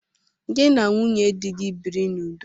Gị na nwunye di gị biri n'udo!